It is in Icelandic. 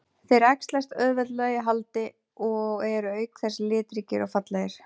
Þeir æxlast auðveldlega í haldi og eru auk þess litríkir og fallegir.